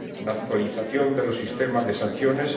la actualización de los sistemas de sanciones